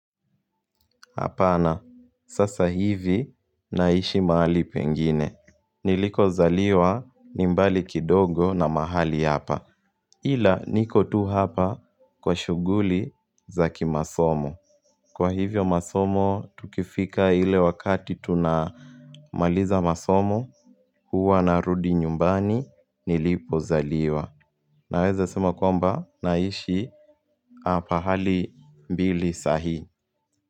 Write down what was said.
Hapana sasa hivi naishi mahali pengine. Niliko zaliwa nimbali kidogo na mahali hapa. Ila niko tu hapa kwa shughuli zaki masomo. Kwa hivyo masomo tukifika ile wakati tunamaliza masomo. Huwa narudi nyumbani nilipo zaliwa. Naweza sema kwamba naishi hapa hali mbili saa hii.